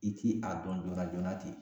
I ti a dɔn joona joona ten